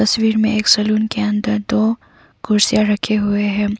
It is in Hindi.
में एक सलून के अंदर दो कुर्सीयां रखे हुए हैं।